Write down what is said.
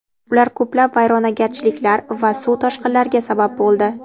Ular ko‘plab vayronagarchiliklar va suv toshqinlariga sabab bo‘ldi.